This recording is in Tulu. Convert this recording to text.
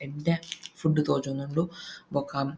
ಎಡ್ಡೆ ಫುಡ್ ತೋಜೊಂದುಂಡು ಬೊಕ್ಕ--